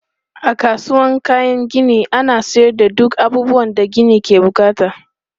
A kasuwan kayan gini ana sayar da duk abubuwan da gini ke bukata.